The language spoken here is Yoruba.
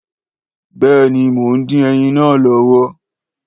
Béèni mọ ń dín ẹyin náà lọ́wọ́